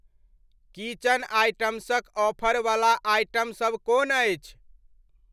Kitchen आइटम्सक ऑफरवला item सब कोन अछि?